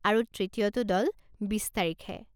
আৰু তৃতীয়টো দল বিছ তাৰিখে।